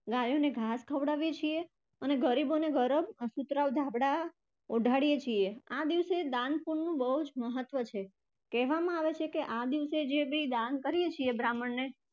ગાયોને ઘાસ ખવડાવીએ છે અને ગરીબોને ગરમ અને સુતરાઉ ધાબળા ઓઢાઢીયે છીએ. આ દિવસે દાનપુણ્ય નું બહુ જ મહત્વ છે. કહેવામાં આવે છે કે આ દિવસે જે પણ દાન કરીએ છે બ્રાહ્મણને